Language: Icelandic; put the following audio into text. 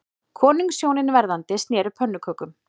Konungshjónin verðandi sneru pönnukökum